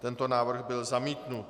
Tento návrh byl zamítnut.